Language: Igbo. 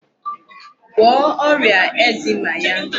Gwọọ ọrịa eczema ya.